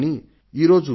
కానీ నేడు